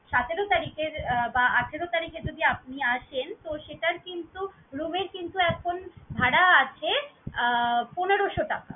সতেরো তারিখের বা আঠারো তারিখে যদি আপনি আসেন, তো সেটার কিন্তু room এর কিন্তু এখন ভাড়া আছে আহ পনেরশো টাকা।